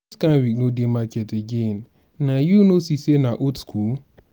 dis kind wig no dey market again naa you no see say na old skool?